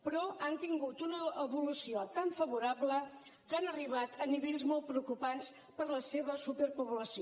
però han tingut una evolució tan favorable que han arribat a nivells molt preocupants per la seva superpoblació